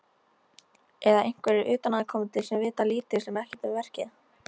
Eða einhverjir utanaðkomandi sem vita lítið sem ekkert um verkið?